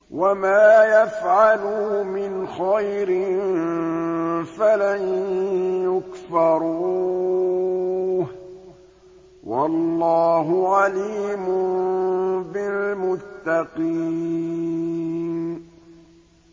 وَمَا يَفْعَلُوا مِنْ خَيْرٍ فَلَن يُكْفَرُوهُ ۗ وَاللَّهُ عَلِيمٌ بِالْمُتَّقِينَ